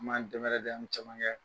An b'an dɛmɛrɛdɛ, an be caman kɛ.